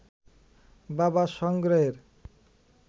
বাবার সংগ্রহের